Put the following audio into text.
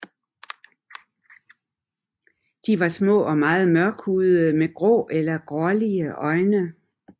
De var små og meget mørkhudede med grå eller blålige øjne